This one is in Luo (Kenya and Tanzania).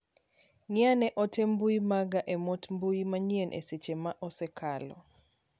Ng'i ane ote mbui maga e mote mbui manyien e seche ma osekalo.